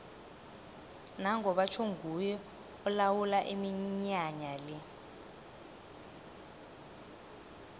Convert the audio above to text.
nango batjho nguye olawula iminyanya le